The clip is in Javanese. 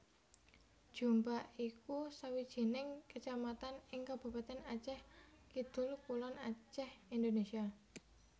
Jeumpa iku sawijining kecamatan ing Kabupatèn Acèh Kidul kulon Acèh Indonésia